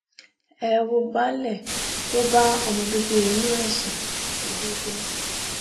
ẹ wo baálẹ̀ ó bá ọmọ bíbí inú ẹ sùn lówódé